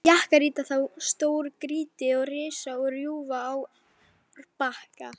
Jakar ýta þá til stórgrýti og rista og rjúfa árbakka.